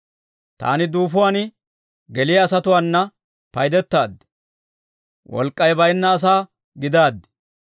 Taani duufuwaan geliyaa asatuwaana paydetaad; wolk'k'ay bayinna asaa gidaaddi.